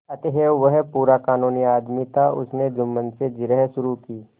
अतएव वह पूरा कानूनी आदमी था उसने जुम्मन से जिरह शुरू की